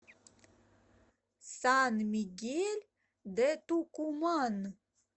сан мигель де тукуман